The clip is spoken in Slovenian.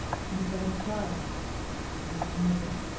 Ne paničari, bodi mirna.